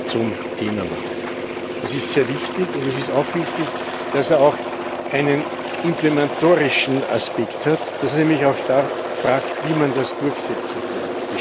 zum Thema macht. Das ist sehr wichtig. Es ist auch wichtig, dass er auch einen implementorischen Aspekt hat, dass er nämlich auch fragt, wie man das durchsetzen kann.